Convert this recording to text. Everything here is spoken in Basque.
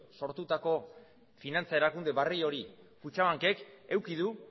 sortutako finantza erakunde berri hori kutxabankek eduki du